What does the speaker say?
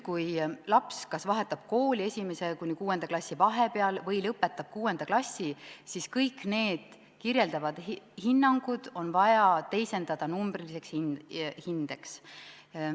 Kui laps kas vahetab kooli 1. ja 6. klassi vahepeal või lõpetab 6. klassi, siis kõik need kirjeldavad hinnangud on vaja teisendada numbriliseks hindeks.